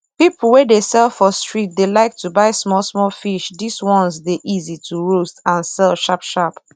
peolpe wey dey sell for street dey like to buy small small fish this ones dey easy to roast and sell sharp sharp